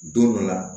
Don dɔ la